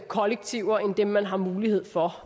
kollektiver end dem man har mulighed for